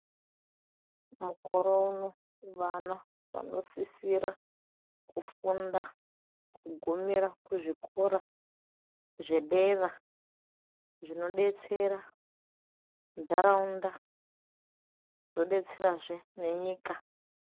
Mukore uno vana vanosisira kufunda kugumira kuzvikora zvedera zvinodetsera ntaraunda, zvodetserazve nenyika.